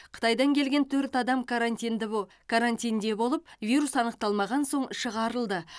қытайдан келген төрт адам карантинде бо карантинде болып вирус анықталмаған соң шығарылды